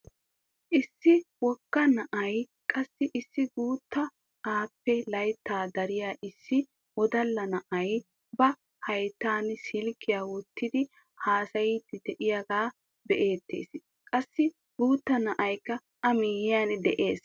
Issi wogga na'aynne qassi issi guuttaa appe layttaa dariyaa issi wodalla na'ay ba hayttaan silkkiyaa wottidi hasaayidi de'iyaagee beettees. qassi guutta na'aykka a miyiyaan de'ees.